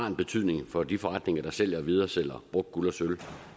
en betydning for de forretninger der sælger og videresælger brugt guld og sølv